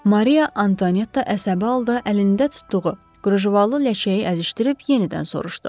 Mariya Antuanetta əsəbi halda əlində tutduğu qrujavalı ləçəyi əzişdirib yenidən soruşdu.